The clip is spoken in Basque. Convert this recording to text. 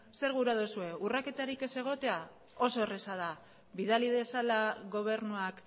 zer gura duzue urraketarik ez egotea oso erraza da bidali dezala gobernuak